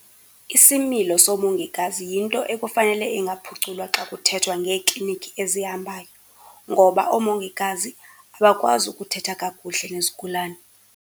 Isimilo soomongikazi yinto ekufanele ingaphuculwa xa kuthethwa ngeeklinikhi ezihambayo, ngoba oomongikazi abakwazi ukuthetha kakuhle nezigulana.